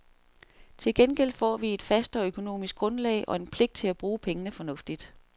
Til gengæld får vi et fastere økonomisk grundlag og en pligt til at bruge pengene fornuftigt.